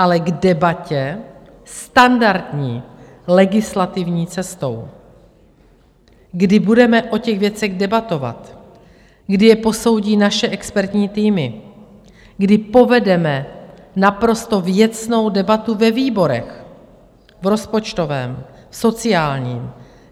Ale k debatě standardní legislativní cestou, kdy budeme o těch věcech debatovat, kdy je posoudí naše expertní týmy, kdy povedeme naprosto věcnou debatu ve výborech, v rozpočtovém, v sociálním.